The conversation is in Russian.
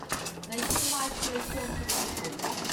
найти матч челси ливерпуль